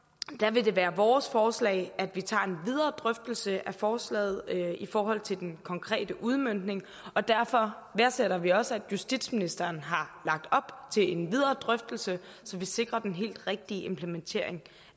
vil det være vores forslag at vi tager en videre drøftelse af forslaget i forhold til den konkrete udmøntning og derfor værdsætter vi også at justitsministeren har lagt op til en videre drøftelse så vi sikrer den helt rigtige implementering